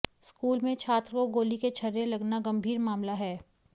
school में छात्र को गोली के छर्रे लगना गंभीर मामला है